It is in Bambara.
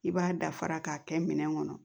I b'a dafara k'a kɛ minɛn kɔnɔ